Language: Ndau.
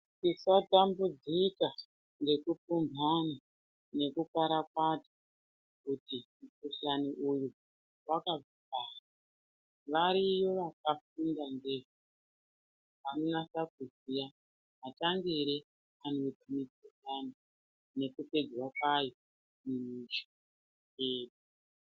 Tisatambudzika ngekupumhana nekukwarakwata kuti mukhuhlani uyu wakabvepi. Variyo vakafunda ndizvo vanonatsa kuziya matangire anoita mikhuhlane nekupedzwa kwayo.